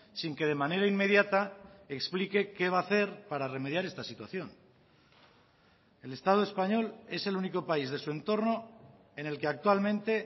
sin que de manera inmediata explique qué va a hacer para remediar esta situación el estado español es el único país de su entorno en el que actualmente